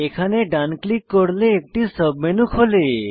এখানে ডান ক্লিক করলে একটি সাবমেনু খোলে